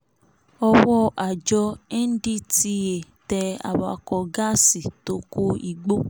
ọwọ́ àjọ ndtea tẹ awakọ̀ gáàsì tó ko igbó